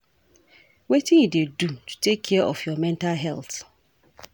Wetin you dey do to take care of your mental health?